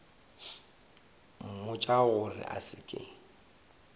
mmotša gore a se ke